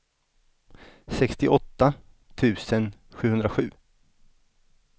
sextioåtta tusen sjuhundrasju